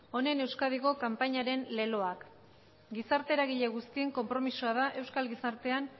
honen euskadiko kanpainaren leloak gizarte eragile guztien konpromisoa da euskal gizartean